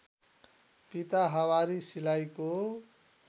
पिता हवारी सिलाइको